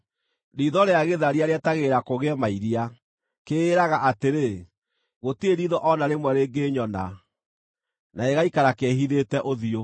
Riitho rĩa gĩtharia rĩetagĩrĩra kũgĩe mairia; kĩĩraga atĩrĩ, ‘Gũtirĩ riitho o na rĩmwe rĩngĩnyona,’ na gĩgaikara kĩĩhithĩte ũthiũ.